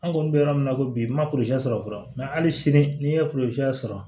An kɔni bɛ yɔrɔ min na ko bi n ma sɔrɔ fɔlɔ hali sini n'i ye sɔrɔ